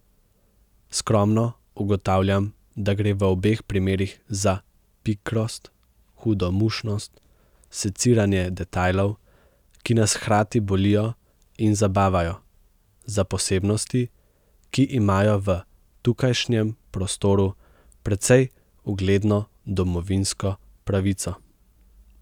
Skromno ugotavljam, da gre v obeh primerih za pikrost, hudomušnost, seciranje detajlov, ki nas hkrati bolijo in zabavajo, za posebnosti, ki imajo v tukajšnjem prostoru precej ugledno domovinsko pravico?